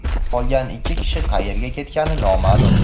qolgan ikki kishi qayerga ketgani noma’lum.